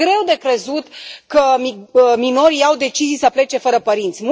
Este greu de crezut că minorii au decis să plece fără părinți.